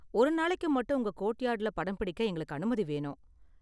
ஒரு நாளைக்கு மட்டும் உங்க கோர்ட்யார்டுல படம் பிடிக்க எங்களுக்கு அனுமதி வேணும்.